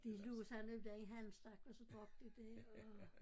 De lå sammen dér i halmstak og så drak de det og